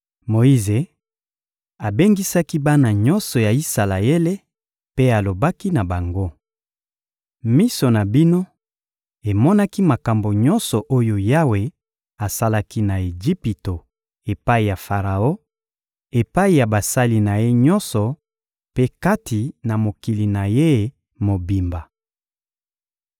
Moyize abengisaki bana nyonso ya Isalaele mpe alobaki na bango: «Miso na bino emonaki makambo nyonso oyo Yawe asalaki na Ejipito epai ya Faraon, epai ya basali na ye nyonso mpe kati na mokili na ye mobimba.